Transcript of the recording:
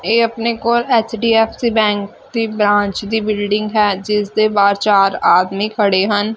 ਇਹ ਆਪਣੇ ਕੋਲ ਐਚਡੀਐਫਸੀ ਬੈਂਕ ਤੇ ਬ੍ਰਾਂਚ ਦੀ ਬਿਲਡਿੰਗ ਹੈ ਜਿਸਦੇ ਬਾਹਰ ਚਾਰ ਆਦਮੀ ਖੜੇ ਹਨ।